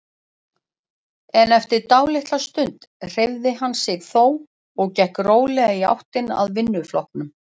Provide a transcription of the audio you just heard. En eftir dálitla stund hreyfði hann sig þó og gekk rólega í áttina að vinnuflokknum.